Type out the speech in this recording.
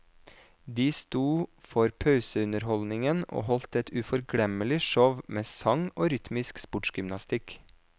De stod for pauseunderholdningen, og holdt et uforglemmelig show med sang og rytmisk sportsgymnastikk.